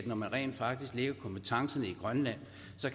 men rent faktisk lægger kompetencen i grønland